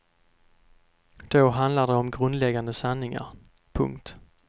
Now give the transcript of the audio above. Då handlar det om grundläggande sanningar. punkt